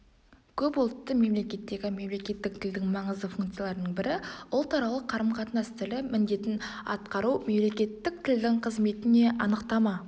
көпұлтты мемлекеттегі мемлекеттік тілдің маңызды функцияларының бірі ұлтаралық қарым-қатынас тілі міндетін атқару мемлекеттік тілдің қызметіне анықтама